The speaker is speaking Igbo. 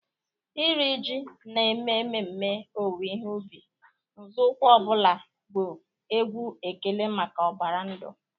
Iri ji na-eme ememe owuwe ihe ubi, nzọụkwụ ọ bụla bụ egwu ekele maka ụbara ndụ.